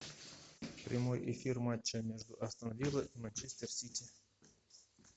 прямой эфир матча между астон вилла и манчестер сити